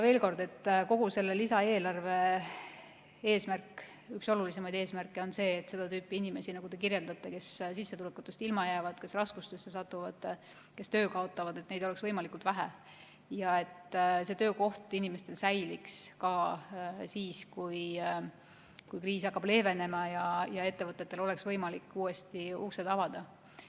Veel kord, kogu selle lisaeelarve üks olulisimaid eesmärke on see, et seda tüüpi inimesi, nagu te kirjeldate, kes jäävad sissetulekust ilma, satuvad raskustesse, kaotavad töö, oleks võimalikult vähe ja et töökoht inimestel säiliks ka siis, kui kriis hakkab leevenema ja ettevõtetel on võimalik uuesti uksed avada.